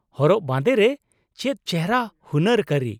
ᱦᱚᱨᱚᱜ ᱵᱟᱸᱫᱮ ᱨᱮ ᱪᱮᱫ ᱪᱮᱦᱨᱟ ᱦᱩᱱᱟᱹᱨ ᱠᱟᱹᱨᱤ ᱾